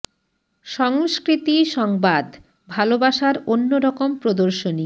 স ং স্কৃ তি স ং বা দ ভালোবাসার অন্য রকম প্রদর্শনী